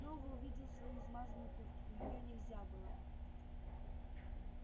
снова увидел свою измазанную куртку её нельзя было